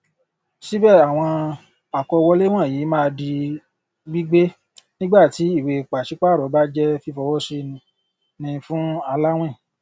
síbẹ àwọn akọwọlé wọnyìí máa di gbígbé nígbàtí ìwé e pàṣípààrọ bá jẹ fífọwọsí ní fún aláwìn